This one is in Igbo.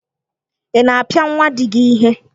Ị na-apịa nwa di gị ihe?